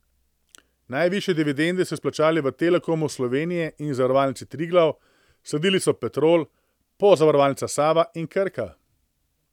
Najvišje dividende so izplačali v Telekomu Slovenije in Zavarovalnici Triglav, sledili so Petrol, Pozavarovalnica Sava in Krka.